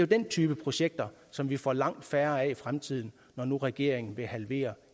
den type projekter som vi får langt færre af i fremtiden når nu regeringen vil halvere